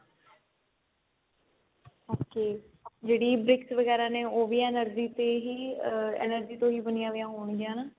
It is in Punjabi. okay ਜਿਹੜੀ bricks ਵਗੇਰਾ ਨੇ ਉਹ ਵੀ energy ਤੇ ਹੀ energy ਤੋਂ ਹੀ ਬਣੀਆ ਹੋਈਆਂ ਹੋਣਗੀਆਂ ਹਨਾ